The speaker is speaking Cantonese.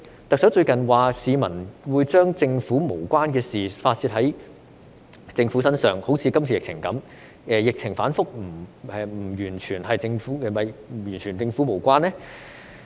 特首最近說市民會把與政府無關的事發泄在政府身上，正如這次的疫情一樣，但疫情反覆是否完全與政府無關呢？